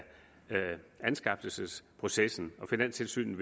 anskaffelsesprocessen men finanstilsynet